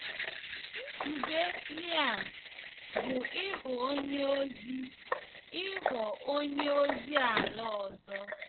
Nzube Liam bụ ịghọ onye ozi ịghọ onye ozi ala ọzọ.